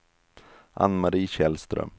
Ann-Marie Källström